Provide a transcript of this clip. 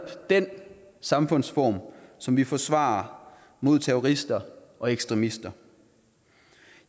den samfundsform som vi forsvarer mod terrorister og ekstremister